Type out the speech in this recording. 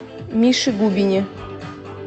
мише губине